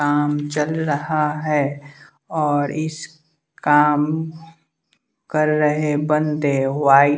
काम चल रहा है और इस काम कर रहे बंदे वाई--